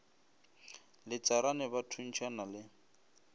le tsarane ba thuntšhana le